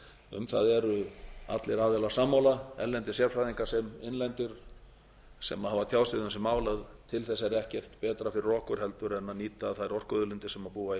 um það eru allir aðilar sammála erlendir sérfræðingar sem innlendir sem hafa tjáð sig um þessi mál að til þess er ekkert betra fyrir okkur heldur en nýta þær orkuauðlindir